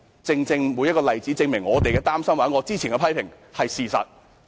這些例子都證明我們所擔心的事或之前提出的批評皆是事實。